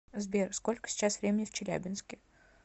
сбер сколько сейчас времени в челябинске